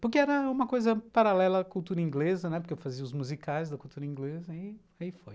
porque era uma coisa paralela à cultura inglesa, porque eu fazia os musicais da cultura inglesa, e aí foi.